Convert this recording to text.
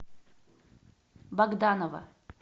богданова